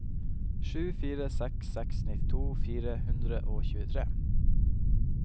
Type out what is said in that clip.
sju fire seks seks nittito fire hundre og tjuetre